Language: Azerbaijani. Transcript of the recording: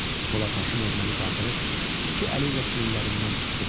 Polad Həşimov məni qaldırıb iki əli ilə çiynlərimdən tutdu.